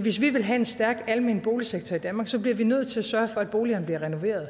hvis vi vil have en stærk almen boligsektor i danmark så bliver vi nødt til at sørge for at boligerne bliver renoveret